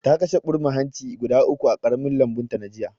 Ta kashe ɓurma hanci guda uku a ƙaramin lambunta jiya